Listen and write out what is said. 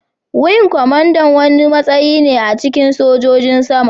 Wing kwamandan wani matsayi ne a cikin sojojin sama.